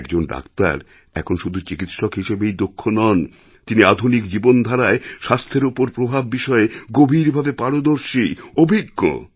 একজন ডাক্তার এখন শুধু চিকিৎসক হিসেবেই দক্ষ নন তিনি আধুনিক জীবনধারায়স্বাস্থ্যের ওপর প্রভাব বিষয়ে গভীরভাবে পারদর্শী অভিজ্ঞ